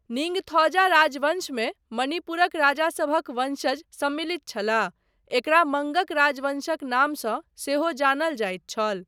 निड़्गथौजा राजवंशमे मणिपुरक राजासभक वंशज सम्मिलित छलाह, एकरा मंगग राजवंशक नामसँ सेहो जानल जाइत छल।